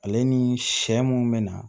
Ale ni sɛ mun be na